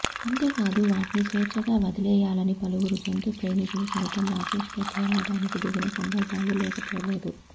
అంతేకాదు వాటిని స్వేచ్ఛగా వదిలేయాలని పలువురు జంతు ప్రేమికులు సైతం రాకేష్ పై పోరాటానికి దిగిన సందర్భాలూ లేకపోలేదు